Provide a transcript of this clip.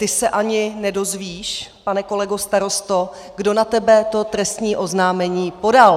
Ty se ani nedozvíš, pane kolego starosto, kdo na tebe to trestní oznámení podal.